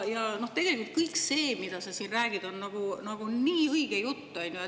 Ja tegelikult kõik see, mida sa siin räägid, on nagu nii õige jutt.